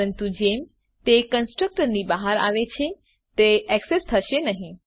પરંતુ જેમ તે કન્સ્ટ્રકટર ની બહાર આવે છે તે એક્સેસ થઇ શકે નહી